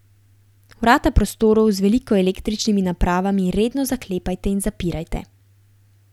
Vrata prostorov z veliko električnimi napravami redno zaklepajte in zapirajte.